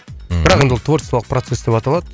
бірақ енді ол творчестволық процесс деп аталады